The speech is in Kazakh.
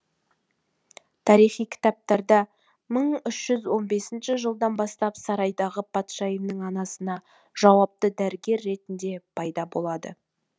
тарихи кітаптарда мың үш жүз он бесінші жылдан бастап сарайдағы патшайымның анасына жауапты дәрігер ретінде пайда болады